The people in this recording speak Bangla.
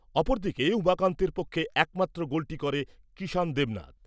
অপরদিকে উমাকান্তের পক্ষে একমাত্র গোলটি করে কিষান দেবনাথ ।